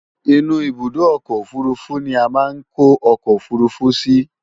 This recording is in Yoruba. Inú ibùdó ọkọ̀ òfurufú ni a máa ń kó ọkọ̀ òfurufú sí